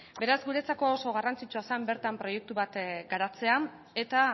beraz guretzako oso garrantzitsua zen bertan proiektu bat garatzea eta